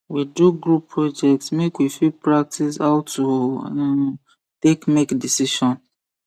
we do group project make we fit practice how to um take make decision